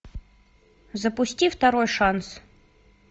запусти второй шанс